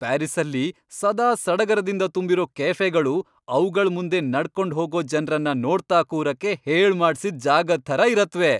ಪ್ಯಾರಿಸ್ಸಲ್ಲಿ ಸದಾ ಸಡಗರದಿಂದ ತುಂಬಿರೋ ಕೆಫೆಗಳು ಅವ್ಗಳ್ ಮುಂದೆ ನಡ್ಕೊಂಡ್ ಹೋಗೋ ಜನ್ರನ್ನ ನೋಡ್ತಾ ಕೂರಕ್ಕೆ ಹೇಳ್ಮಾಡ್ಸಿದ್ ಜಾಗದ್ ಥರ ಇರತ್ವೆ.